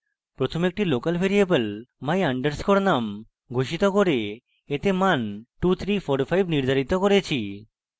প্রথমে একটি local variable my _ num ঘোষিত করে এতে মান 2345 নির্ধারিত করেছি